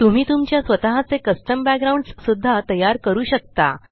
तुम्ही तुमच्या स्वतः चे कस्टम बॅकग्राउंड्स सुद्धा तयार करू शकता